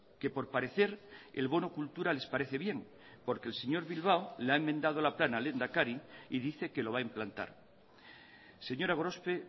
que por parecer el bono cultura les parece bien porque el señor bilbao le ha enmendado la plana al lehendakari y dice que lo va a implantar señora gorospe